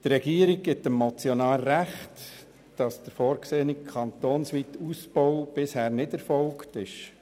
Die Regierung gibt dem Motionär recht darin, dass der vorgesehene, kantonsweite Ausbau bisher nicht erfolgt ist.